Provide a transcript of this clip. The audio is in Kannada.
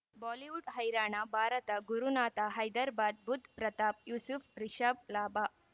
ಬಾಲಿವುಡ್ ಹೈರಾಣ ಭಾರತ ಗುರುನಾಥ ಹೈದರ್ಬಾದ್ ಬುಧ್ ಪ್ರತಾಪ್ ಯೂಸುಫ್ ರಿಷಬ್ ಲಾಭ